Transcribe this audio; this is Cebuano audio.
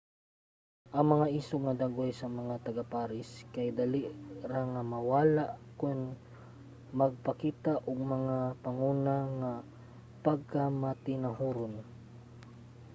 ang mga isog nga dagway sa mga taga-paris kay dali nga mawala kon magpakita ka og mga panguna nga pagkamatinahuron